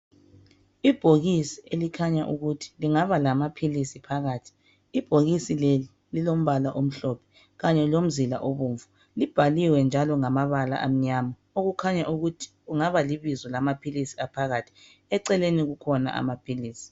Ibhokisi elikhanya ukuthi lingaba lamaphilisi phakathi. Ibhokisi leli, lilombala omhlophe kanye lomzila obomvu. Libhaliwe njalo ngamabala amnyama okukhanya ukuthi kungaba libizo lamaphilisi aphakathi. Eceleneni kukhona amaphilisi.